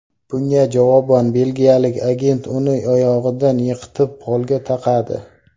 Bunga javoban belgiyalik agent uni oyog‘idan yiqitib, polga taqadi.